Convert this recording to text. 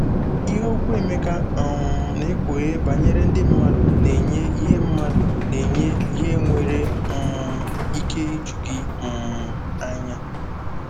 Ihe okwu Emeka um na-ekpughe banyere ndị mmadụ na-enye ihe mmadụ na-enye ihe nwere um ike iju gị um anya.